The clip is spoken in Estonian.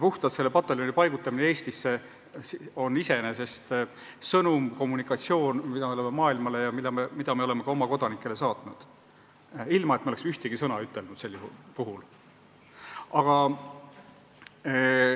Puhtalt selle pataljoni paigutamine Eestisse on iseenesest sõnum, mille me oleme maailmale ja ka oma kodanikele saatnud, ilma et me oleks ühtegi sõna selle kohta ütelnud.